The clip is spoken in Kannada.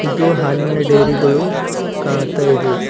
ಇದು ಹಾಲಿನ ಡೈರಿಗಳು ಕಾಣ್ತಾ ಇದೆ.